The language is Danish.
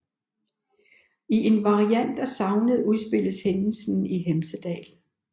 I en variant af sagnet udspilles hændelsen i Hemsedal